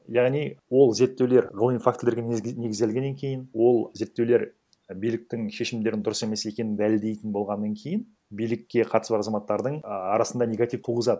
яғни ол зерттеулер ғылыми фактілерге негізделгеннен кейін ол зерттеулер биліктің шешімдерін дұрыс емес екенін дәлелдейтін болғаннан кейін билікке қатысы бар азаматтардың ыыы арасында негатив туғызады